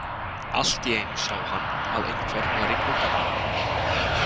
Allt í einu sá hann að einhver var í glugganum.